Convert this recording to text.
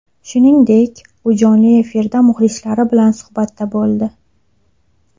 Shuningdek, u jonli efirda muxlislari bilan suhbatda bo‘ldi.